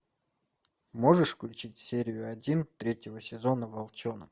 можешь включить серию один третьего сезона волчонок